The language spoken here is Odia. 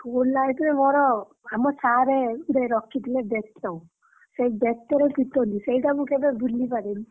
School life ରେ ମୋର ଆମ sir ରଖିଥିଲେ ସେଇ ବେତ ସେଇ ବେତରେ ପିଟନ୍ତି ସେଇଟା ମୁ କେବେ ଭୁଲି ପାରେନି।